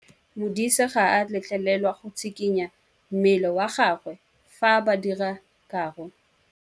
Modise ga a letlelelwa go tshikinya mmele wa gagwe fa ba dira karô.